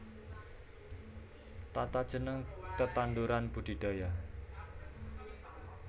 Tatajeneng tetanduran budidaya